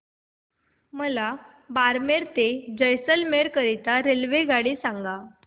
मला बारमेर ते जैसलमेर करीता रेल्वेगाडी सांगा